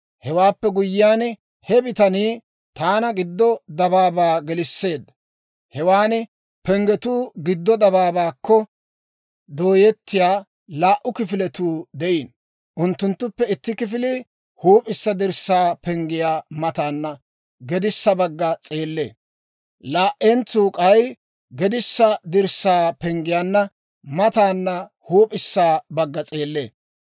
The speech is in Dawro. Hewaappe guyyiyaan, he bitanii taana giddo dabaabaa gelisseedda. Hewan penggetuu giddo dabaabaakko dooyettiyaa laa"u kifiletuu de'iino. Unttunttuppe itti kifilii huup'issa dirssaa penggiyaa mataana gedissa bagga s'eellee; laa"entsuu k'ay gedissa dirssaa penggiyaa mataana huup'issa bagga s'eellee.